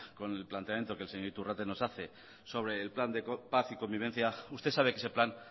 con el planteamiento que el señor iturrate nos hace sobre el plan de paz y convivencia usted sabe que ese plan